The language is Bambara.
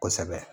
Kosɛbɛ